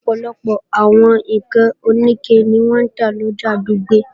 Ọ̀pọ̀lọpọ̀ àwọn ǹkan òníke ni wọ́n ń lọjà Dùgbẹ̀